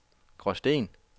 Gråsten